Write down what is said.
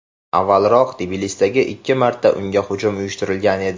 Avvalroq, Tbilisida ikki marta unga hujum uyushtirilgan edi.